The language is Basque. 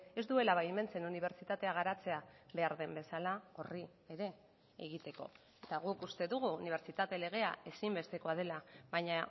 ez duela baimentzen unibertsitatea garatzea behar den bezala horri ere egiteko eta guk uste dugu unibertsitate legea ezinbestekoa dela baina